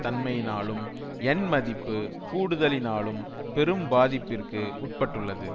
தன்மையினாலும் yen மதிப்பு கூடுதலினாலும் பெரும் பாதிப்பிற்கு உட்பட்டுள்ளது